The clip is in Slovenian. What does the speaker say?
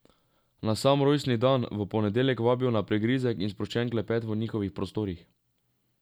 Na sam rojstni dan, v ponedeljek, vabijo na prigrizek in sproščen klepet v njihovih prostorih.